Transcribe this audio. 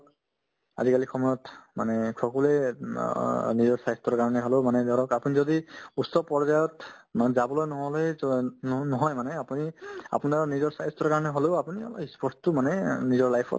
আজিকালি সময়ত মানে সকলোয়ে অ নিজৰ স্বাস্থ্যৰ কাৰণে হ'লেও মানে ধৰক আপুনি যদি উচ্চ পৰ্য্যায়ত মানে যাবলে নহ'লেতো and ন~ নহয় মানে আপুনি আপোনৰ নিজৰ স্বাস্থ্যৰ কাৰণে হ'লেও আপুনি আমাৰ ই sports তো মানে অ নিজৰ life ত